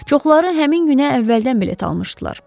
Çoxları həmin günə əvvəldən bilet almışdılar.